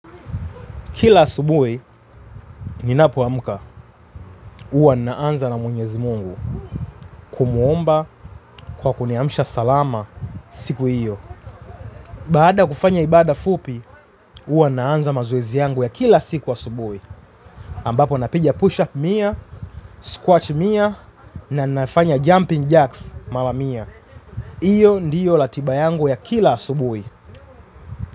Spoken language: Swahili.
Kila asubuhi ninapo amka, huwa naanza na mwenyezi Mungu kumuomba kwa kuniamisha salama siku hiyo. Baada ya kufanya ibada fupi huwa naanza mazoezi yangu ya kila siku asubuhi. Ambapo napiga push up mia, squat mia na ninafanya jumping jerks mara mia. Hiyo ndiyo ratiba yangu ya kila asubuhi.